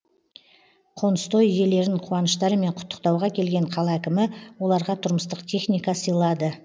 қоныстой иелерін қуаныштарымен құттықтауға келген қала әкімі оларға тұрмыстық техника сыйлады